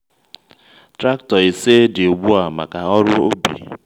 traktọ ise dị ugbu a maka ọrụ ubi.